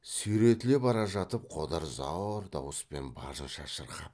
сүйретіле бара жатып қодар зор дауыспен барынша шырқап